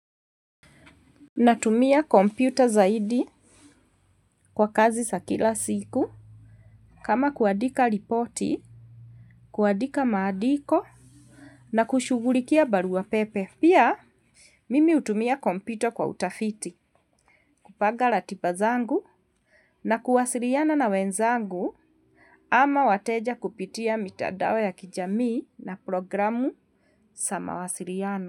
Natumia kompyuta zaidi kwa kazi za kila siku. Kama kuadika ripoti, kuadika maadiko na kushughulikia barua pepe. Pia, mimi utumia kompito kwa utafiti. Kupanga ratiba zangu na kuwasiriana na wenzangu ama wateja kupitia mitadao ya kijamii na programu samawasiriano.